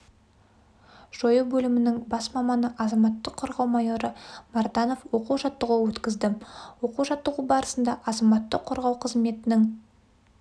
жою бөлімінің бас маманы азаматтық қорғау майоры марданов оқу-жаттығу өткізді оқу-жаттығу барысында азаматтық қорғау қызметінің